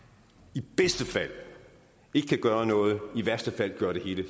i bedste fald ikke kan gøre noget i værste fald kan gøre det hele